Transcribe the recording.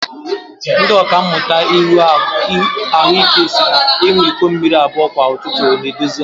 Ndị ọkàmmụta ahụike si na ịṅụ iko mmiri abụọ kwa ụtụtụ na-edozi ahu